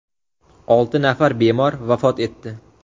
Olti nafar bemor vafot etdi.